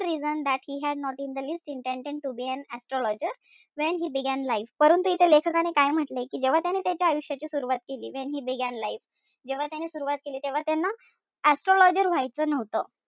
Reason that he had not in the least intended to be an astrologer when he began life परंत इथे लेखकाने काय म्हंटलय? कि जेव्हा त्याने त्याच्या आयुष्याची सुरवात केली when he began life जेव्हा त्याने सुरवात केली. तेव्हा त्यान astrologer व्हायचं नव्हतं.